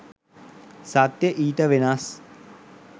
සත්‍ය ඊට වෙනස්